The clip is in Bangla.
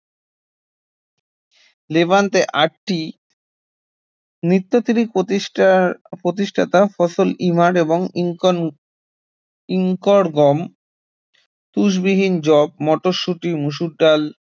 লেভান্তে আটটি নিওলিথিক প্রতিষ্ঠার প্রতিষ্ঠাতা ফসল, ইমার এবং ইঙ্কর্ন ইঙ্কর্ন গম, তুসবিহীন যব, মটরশুঁটি, মসুর ডাল